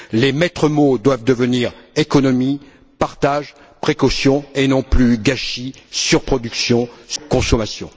Les maîtres mots doivent devenir économie, partage, précaution, et non plus gâchis, surproduction, surconsommation.